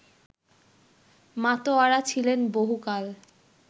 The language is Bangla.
মাতোয়ারা ছিলেন বহুকাল